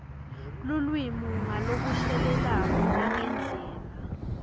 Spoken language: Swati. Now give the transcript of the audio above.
lulwimi ngalokushelelako nangendlela